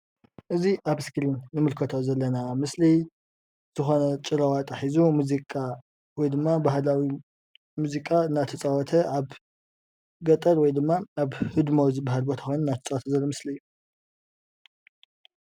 እዚ ኣብ ስክሪን እንምልከቶ ዘለና ምስሊ ዝኮነ ጭራዋጣ ሒዙ ሙዚቃ ወይድማ ባህላዊ ሙዚቃ እናተጻወተ ኣብ ገጠር ወይድማ ኣብ ህድሞ ዝብሃል ቦታ ኮይኑ እናተጻወተ ዘርኢ ምስሊ እዩ።